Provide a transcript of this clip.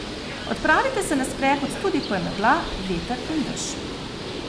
Odpravite se na sprehod tudi ko je megla, veter in dež.